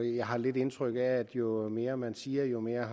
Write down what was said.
jeg har lidt indtryk af at jo mere man siger jo mere